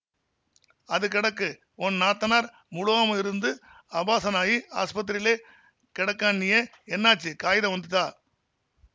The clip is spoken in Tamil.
அது கெடக்குஒன் நாத்தனார் முளுவாம இருந்து அபார்ஸனாயி ஆசுபத்திரியிலே கெடக்கான்னியேஎன்னாச்சுகாயிதம் வந்துதா